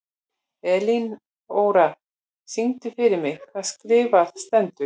Elinóra, syngdu fyrir mig „Það skrifað stendur“.